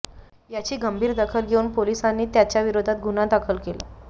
याची गंभीर दखल घेऊन पोलिसांनी त्याच्याविरोधात गुन्हा दाखल केला